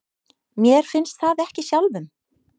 Mér finnst það ekki sjálfum.